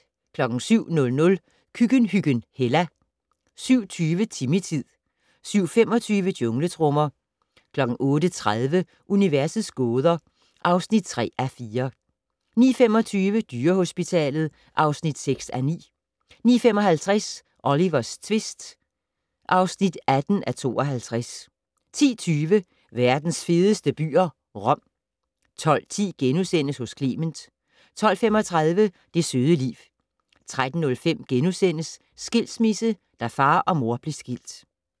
07:00: Køkkenhyggen Hella 07:20: Timmy-tid 07:25: Jungletrommer 08:30: Universets gåder (3:4) 09:25: Dyrehospitalet (6:9) 09:55: Olivers tvist (18:52) 10:20: Verdens fedeste byer - Rom 12:10: Hos Clement * 12:35: Det søde liv 13:05: Skilsmisse - da far og mor blev skilt *